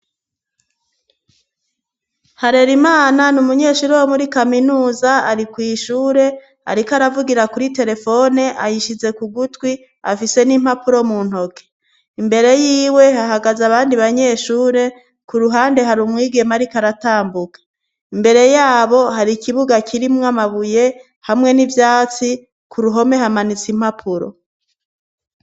Harera imana ni umunyeshure wo muri kaminuza ari kw'ishure, ariko aravugira kuri telefone ayishize ku gutwi afise n'impapuro mu ntoke imbere yiwe hahagaze abandi banyeshure ku ruhande hari umwigema ari ko aratambuka imbere yabo hari ikibugaki rimwo amabuye hamwe n'ivyatsi ku ruhome hamanitse impapuro.